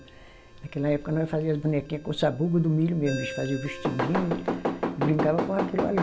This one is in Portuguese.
Naquela época, nós fazia as bonequinha com o sabugo do milho mesmo, a gente fazia o vestidinho e e brincava com aquilo ali.